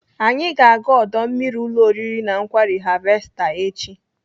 Anyị ga-aga ọdọ mmiri ụlọ oriri na nkwari Harvester echi.